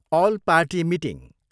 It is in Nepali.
All party meeting.